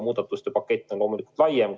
Muudatuste pakett on loomulikult laiem.